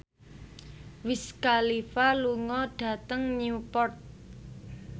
Wiz Khalifa lunga dhateng Newport